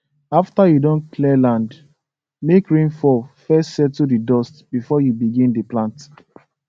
after you don clear land make rain fall first settle the dust before you begin dey plant